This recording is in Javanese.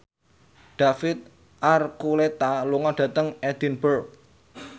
David Archuletta lunga dhateng Edinburgh